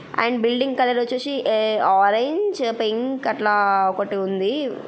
And building colour వచ్చేసి a orange pink అట్లా ఒకటుంది.